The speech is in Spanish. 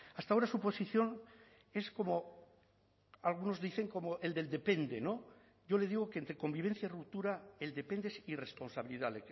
hasta ahora su posición es como algunos dicen como el del depende no yo le digo que entre convivencia y ruptura el depende es irresponsabilidad